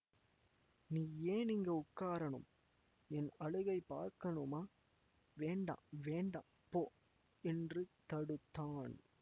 நீ ஏன் இங்கே உட்காரணும் என் அழுகைப் பார்க்கணுமா வேண்டா வேண்டா போ என்று தடுத்தான்